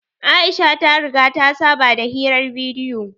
Aisha ta riga ta saba da hirar bidiyo